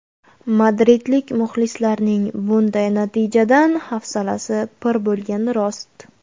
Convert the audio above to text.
Madridlik muxlislarning bunday natijadan hafsalasi pir bo‘lgani rost.